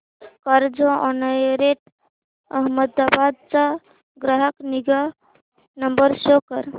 Carzonrent Ahmedabad चा ग्राहक निगा नंबर शो कर